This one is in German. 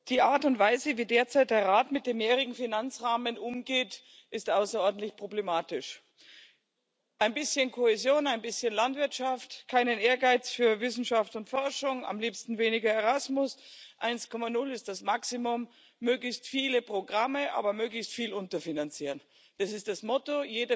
Die Art und Weise, wie derzeit der Rat mit dem mehrjährigen Finanzrahmen umgeht, ist außerordentlich problematisch. Ein bisschen Kohäsion, ein bisschen Landwirtschaft, kein Ehrgeiz für Wissenschaft und Forschung, am liebsten weniger Erasmus, 1,0 ist das Maximum, möglichst viele Programme, aber möglichst viel unterfinanzieren das ist das Motto.